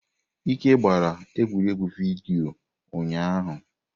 Ike gbara egwuregwu vidiyo ụnyahụ.